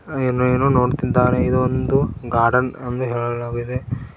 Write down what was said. ಹಾಗು ಇಲ್ಲೇ ಎಲ್ಲೋ ನೋಡ್ತಾ ಇದ್ದಾನೆ ಇದು ಒಂದು ಗಾರ್ಡನ್ ಎಂದು ಹೇಳಲಾಗಿದೆ.